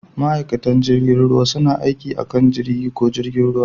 Ma'aikatan jirgin ruwa suna aiki a kan jirgi ko jirgin ruwa.